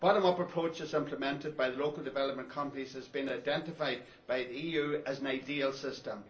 The bottom up approach implemented by the local development companies has been identified by the EU as an ideal system.